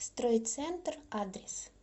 стройцентр адрес